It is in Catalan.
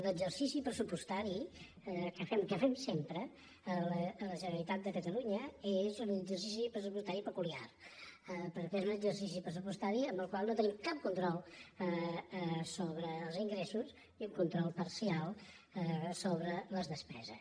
l’exercici pressupostari que fem sempre a la generali·tat de catalunya és un exercici pressupostari peculiar perquè és un exercici pressupostari en el qual no te·nim cap control sobre els ingressos i un control parcial sobre les despeses